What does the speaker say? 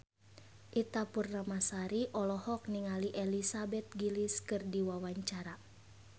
Ita Purnamasari olohok ningali Elizabeth Gillies keur diwawancara